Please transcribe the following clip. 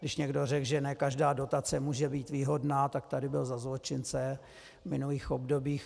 Když někdo řekl, že ne každá dotace může být výhodná, tak tady byl za zločince v minulých obdobích.